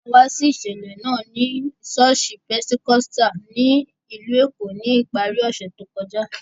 A wá sí ìṣẹ̀lẹ̀ náà ní ṣọ́ọ̀ṣì Pentecostal ní ìlú Èkó ní ìparí ọ̀sẹ̀ tó kọjá